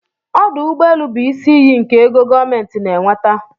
Ọdụ ụgbọelụ bụ isi iyi nke ego gọọmentị na-enweta.